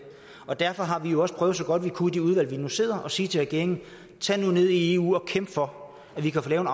derfor har vi jo også prøvet så godt vi kunne i de udvalg vi nu sidder i at sige til regeringen tag nu ned i eu og kæmp for at vi kan få lavet